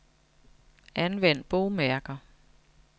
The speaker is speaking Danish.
Anvend bogmærker.